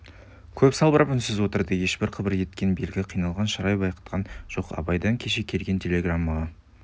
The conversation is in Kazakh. көп салбырап үнсіз отырды ешбір қыбыр еткен белгі қиналған шырай байқатқан жоқ абайдан кеше келген телеграммаға